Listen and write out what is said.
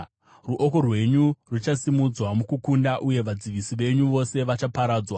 Ruoko rwenyu ruchasimudzwa mukukunda uye vadzivisi venyu vose vachaparadzwa.